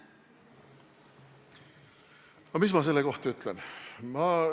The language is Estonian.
Mis ma selle kohta ütlen?